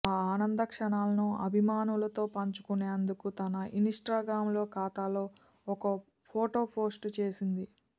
ఆ ఆనంద క్షణాలను అభిమానులతో పంచుకునేందుకు తన ఇన్ స్టాగ్రామ్ ఖాతాలో ఓ ఫోటో పోస్ట్ చేసింది